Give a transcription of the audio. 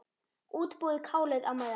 Útbúið kálið á meðan.